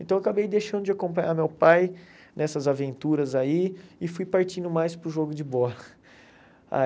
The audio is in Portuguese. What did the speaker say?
Então eu acabei deixando de acompanhar meu pai nessas aventuras aí e fui partindo mais para o jogo de bola. A